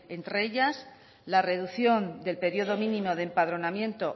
entre ellas la reducción del periodo mínimo de empadronamiento